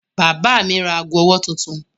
Bàbá mi ra ago-ọwọ́ tuntun.